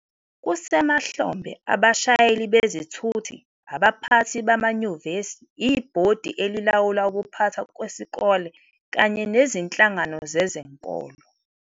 Kusemahlombe abashayeli bezithuthi, abaphathi bamanyuvesi, ibhodi elilawula ukuphathwa kwesikole kanye nezinhlangano zezenkolo